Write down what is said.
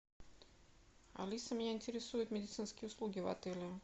алиса меня интересуют медицинские услуги в отеле